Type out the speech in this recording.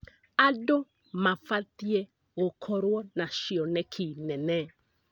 Andũ mabatiĩ gũkorwo na cioneki nene.